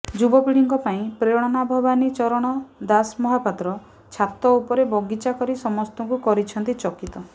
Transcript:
ଯୁବପିଢ଼ିଙ୍କ ପାଇଁ ପ୍ରେରଣା ଭବାନୀ ଚରଣ ଦାସମହାପାତ୍ର ଛାତ ଉପରେ ବଗିଚା କରି ସମସ୍ତଙ୍କୁ କରିଛନ୍ତି ଚକିତ